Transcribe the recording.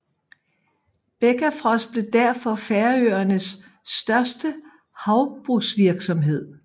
Bakkafrost blev derfor Færøernes største havbrugsvirksomhed